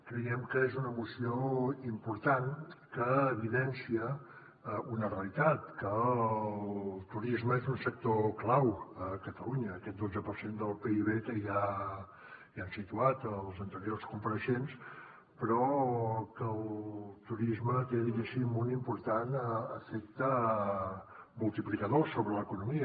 creiem que és una moció important que evidencia una realitat que el turisme és un sector clau a catalunya aquest dotze per cent del pib que ja han situat els anteriors compareixents però que el turisme té diguéssim un important efecte multiplicador sobre l’economia